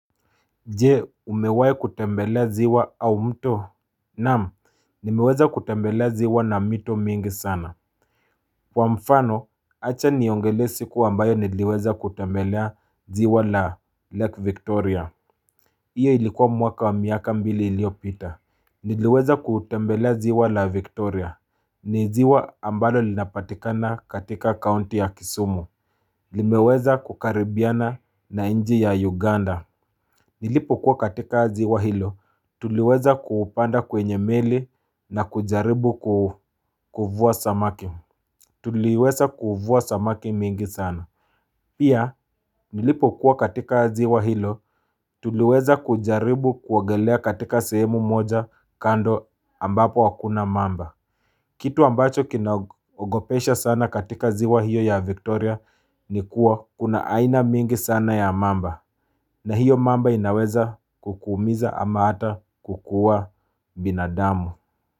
Jee umewahi kutembelea ziwa au mto Naam nimeweza kutembelea ziwa na mito mingi sana Kwa mfano acha niongelee siku ambayo niliweza kutembelea ziwa la lake Victoria Iyo ilikuwa mwaka wa miaka mbili iliopita Niliweza kutembelea ziwa la Victoria ni ziwa ambalo linapatikana katika kaunti ya Kisumu limeweza kukaribiana na nchi ya Uganda Nilipokuwa katika ziwa hilo tuliweza kupanda kwenye meli na kujaribu kuvua samaki mingi sana Pia nilipokuwa katika ziwa hilo tuliweza kujaribu kuogelea katika sehemu moja kando ambapo hakuna mamba Kitu ambacho kinaogopesha sana katika ziwa hiyo ya Victoria ni kuwa kuna aina mingi sana ya mamba na hiyo mamba inaweza kukuumiza ama ata kukua binadamu.